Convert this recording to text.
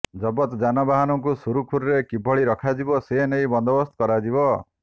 ଜବତ ଯାନବାହନକୁ ସୁରୁଖୁରୁରେ କିଭଳି ରଖାଯିବ ସେନେଇ ବନ୍ଦୋବସ୍ତ କରାଯିବ